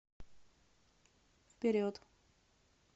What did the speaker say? вперед